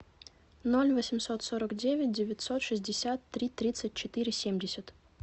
ноль восемьсот сорок девять девятьсот шестьдесят три тридцать четыре семьдесят